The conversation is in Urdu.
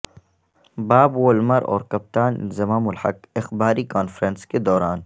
باب وولمر اور کپتان انضمام الحق اخباری کانفرنس کے دوران